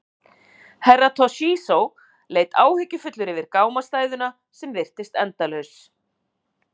Herra Toshizo leit áhyggjufullur yfir gámastæðuna sem virtist endalaus.